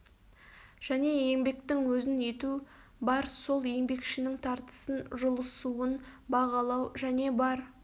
және еңбектің өзін ету бар сол еңбекшінің тартысын жұлысуын бағалау және бар